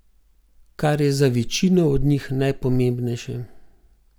Kar je za večino od njih najpomembnejše.